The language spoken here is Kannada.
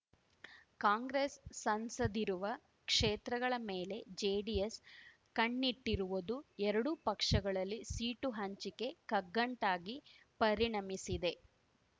ಕಾಂಗ್ರೆಸ್ ಸಂಸದಿರುವ ಕ್ಷೇತ್ರಗಳ ಮೇಲೆ ಜೆಡಿಎಸ್ ಕಣ್ಣಿಟ್ಟಿರುವದು ಎರಡೂ ಪಕ್ಷಗಳಲ್ಲಿ ಸೀಟು ಹಂಚಿಕೆ ಕಗ್ಗಂಟಾಗಿ ಪರಿಣಮಿಸಿದೆ